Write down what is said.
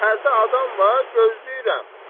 Şəhərdə adam var, gözləyirəm.